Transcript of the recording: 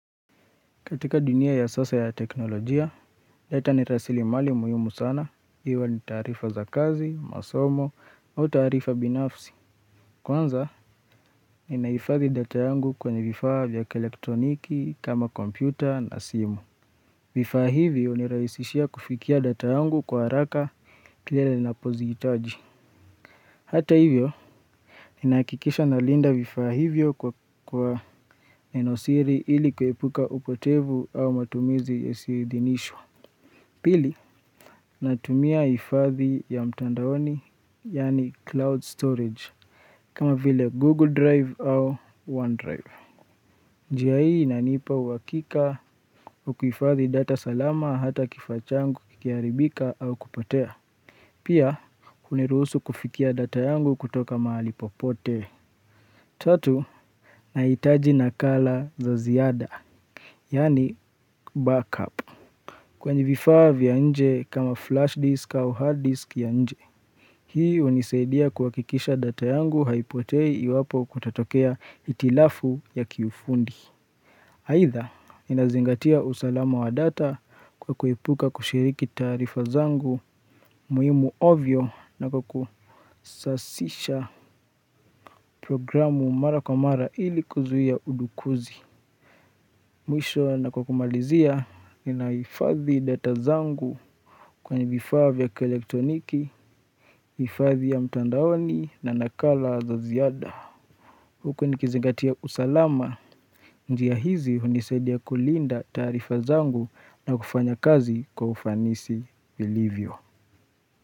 Katika dunia ya sasa ya teknolojia, data ni rasili mali muhimu sana, iwe ni taarifa za kazi, masomo, au taarifa binafsi. Kwanza, ni naifadhi data yangu kwenye vifaa vya kielektroniki, kama kompyuta na simu. Vifaa hivyo ni rahisishia kufikia data yangu kwa haraka kilele na pozihitaji. Hata hivyo, ni nahakikisha na linda vifaa hivyo kwa enosiri ili kuepuka upotevu au matumizi yeasi idhinishwa. Pili, natumia hifadhi ya mtandaoni, yani cloud storage, kama vile Google Drive au OneDrive. Njia hii nanipa uhakika ukuifadhi data salama hata kifaa changu kikiaribika au kupotea. Pia, unirusu kufikia data yangu kutoka mahali popote. Tatu, nahitaji na kala za ziada, yani backup. Kwenye vifaa vya nje kama flash disk au hard disk ya nje. Hii hunisaidia kuhakikisha data yangu haipotei iwapo kutatokea hitilafu ya kiufundi. Aidha inazingatia usalama wa data kwa kuepuka kushiriki taarifa zangu muhimu ovyo na kwaku sasisha programu mara kwa mara ili kuzuia udukuzi. Mwisho na kwa kumalizia ninahifathi data zangu kwenye vifaa vya kielektroniki, hifathi ya mtandaoni na nakala za ziada. Huku nikizangatia usalama, njiahizi hunisaidia kulinda taarifa zangu na kufanya kazi kwaufanisi ilivyo.